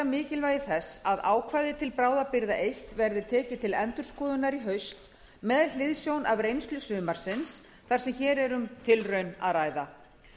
mikilvægi þess að ákvæði til bráðabirgða eins verði tekin til endurskoðunar í haust með hliðsjón af reynslu sumarsins þar sem hér er um tilraun að ræða